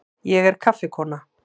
Ég er kaffikona.